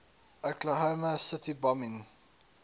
oklahoma city bombing